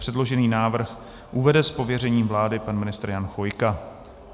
Předložený návrh uvede z pověření vlády pan ministr Jan Chvojka.